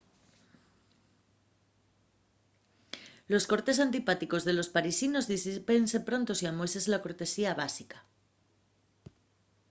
los cortes antipáticos de los parisinos disípense pronto si amueses la cortesía básica